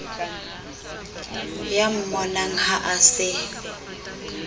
ya mmonang ha a se